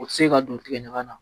O tɛ se ka don tigɛ ɲaga na